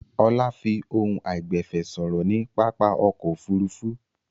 Ọlá fi ohùn àìgbẹ̀fẹ̀ sọ̀rọ̀ ní pápá ọkọ̀-òfurufú.